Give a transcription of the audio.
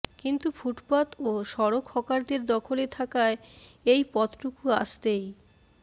কিন্তু ফুটপাত ও সড়ক হকারদের দখলে থাকায় এই পথটুকু আসতেই